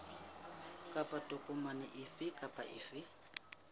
kapa tokomane efe kapa efe